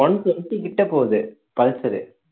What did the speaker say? இது one twenty கிட்ட போகுது pulsar உ